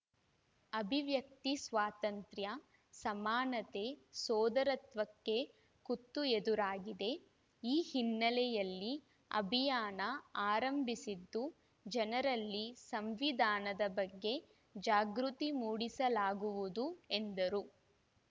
ಅಭಿವ್ಯಕ್ತಿ ಸ್ವಾತಂತ್ರ್ಯ ಸಮಾನತೆ ಸೋದರತ್ವಕ್ಕೆ ಕುತ್ತು ಎದುರಾಗಿದೆ ಈ ಹಿನ್ನೆಲೆಯಲ್ಲಿ ಅಭಿಯಾನ ಆರಂಭಿಸಿದ್ದು ಜನರಲ್ಲಿ ಸಂವಿಧಾನದ ಬಗ್ಗೆ ಜಾಗೃತಿ ಮೂಡಿಸಲಾಗುವುದು ಎಂದರು